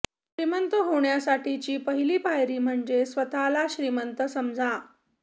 श्रीमंत होण्यासाठीची पहिली पायरी म्हणजे स्वतःला श्रीमंत समजा